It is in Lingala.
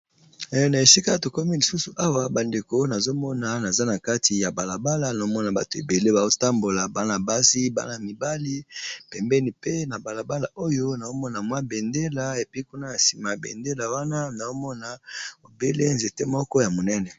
Na esika to komi lisusu awa ba ndeko nazo mona naza na kati ya balabala nazo mona bato ébélé bazo tambola, bana basi bana mibali pembeni, pe na balabala oyo nazo mona mwa bendela et puis kuna na sima bendela wana nazo mona obele nzete moko ya monene .